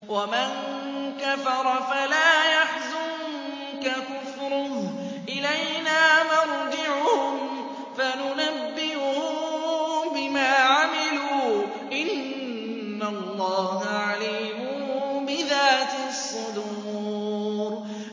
وَمَن كَفَرَ فَلَا يَحْزُنكَ كُفْرُهُ ۚ إِلَيْنَا مَرْجِعُهُمْ فَنُنَبِّئُهُم بِمَا عَمِلُوا ۚ إِنَّ اللَّهَ عَلِيمٌ بِذَاتِ الصُّدُورِ